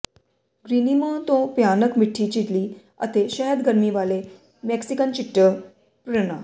ਗ੍ਰੀਨਿਮੋ ਤੋਂ ਭਿਆਨਕ ਮਿੱਠੀ ਚਿੱਲੀ ਅਤੇ ਸ਼ਹਿਦ ਗਰਮੀ ਵਾਲੇ ਮੇਕਸੀਕਨ ਚਿੱਟੇ ਪ੍ਰੋਨਾਂ